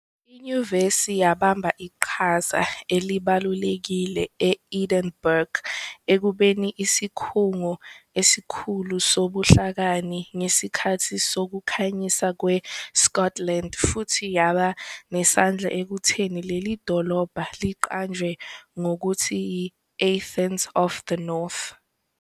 Inyuvesi yabamba iqhaza elibalulekile e-Edinburgh ekubeni isikhungo esikhulu sobuhlakani ngesikhathi sokuKhanyiswa kweScotland futhi yaba nesandla ekutheni leli dolobha liqanjwe ngokuthi "i-Athens of the North."